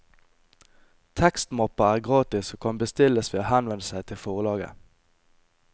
Tekstmappa er gratis og kan bestilles ved å henvende seg til forlaget.